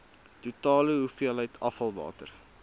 totale hoeveelheid afvalwater